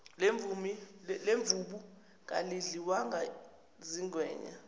lemvubu kalidliwanga zingwenya